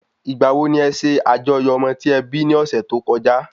Ìgbà wo ni e sẹ àjọyọ̀ ọmọ tí e bí ní ọ́sẹ́ tó kọjá?